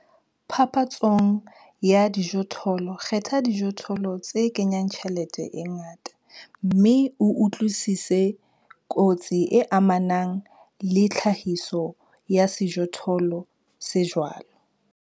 Phapantshong ya dijothollo kgetha dijothollo tse kenyang tjhelete e ngata, mme o utlwisise kotsi e amanang le tlhahiso ya sejothollo se jwalo.